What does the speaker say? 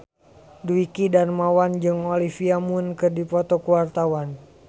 Dwiki Darmawan jeung Olivia Munn keur dipoto ku wartawan